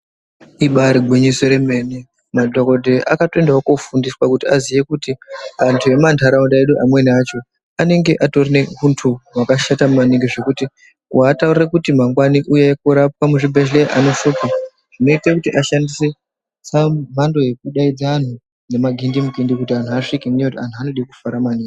Ibari gwinyiso remene madhokodheya akatoendawo kofundiswawo kuti aziye kuti anthu emumantaraunda mwedu amweni acho anenge atori neunthu wakashata maningi zvekuti kuataurira kuti mangwani uyai korapwa muzvibhedhera zvinoshupa zvinoita kuti ashandise mhando yekudaidza anthu ngemagindimukindi ngekuti anthu anode kufara maningi.